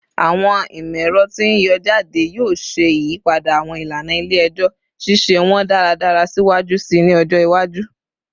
Awọn imọ-ẹrọ ti n yọ jade yoo ṣe iyipada awọn ilana ile-ẹjọ, ṣiṣe wọn daradara siwaju sii ni ọjọ iwaju